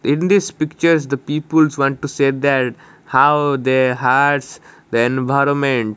in this pictures the peoples want to say that how they hurts the environment.